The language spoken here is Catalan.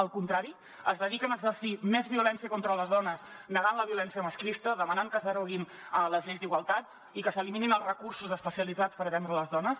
al contrari es dediquen a exercir més violència contra les dones negant la violència masclista demanant que es deroguin les lleis d’igualtat i que s’eliminin els recursos especialitzats per atendre les dones